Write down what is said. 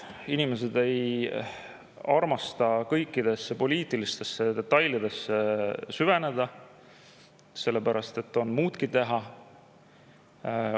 Inimesed ei armasta kõikidesse poliitilistesse detailidesse süveneda, neil on muudki teha.